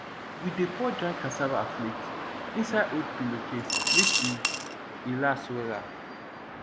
we dey pour dry cassava flake inside old pillowcase make e e last wella